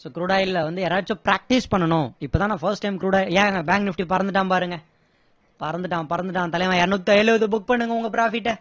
so crude oil ல வந்து யாராவது practise பண்ணணும் இப்போதான் first time நான் crude oil ஏங்க bank nifty பறந்துட்டான் பாருங்க பறந்துட்டான் பறந்துட்டான் தலைவன் இருநூத்தி இருவது book பண்ணுங்க உங்க profit அ